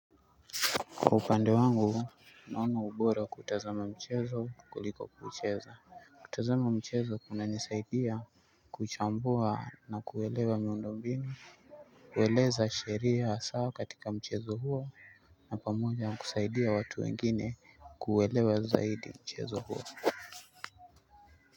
Upande wangu naona ubora kutazama mchezo kuliko kuucheza. Kutazama mchezo kuna nisaidia kuchambua na kuwelewa miundombinu. Kueleza sheria wa sawa katika mchezo huo na pamoja kusaidia watu wengine kuwelewa zaidi mchezo huo.